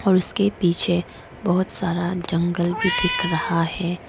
और इसके पीछे बहोत सारा जंगल भी दिख रहा है।